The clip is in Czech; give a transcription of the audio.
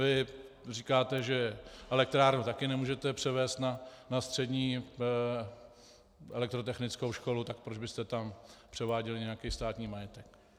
Vy říkáte, že elektrárnu taky nemůžete převést na střední elektrotechnickou školu, takže proč byste tam převáděli nějaký státní majetek.